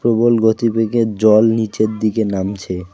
প্রবল গতিবেগে জল নীচের দিকে নামছে।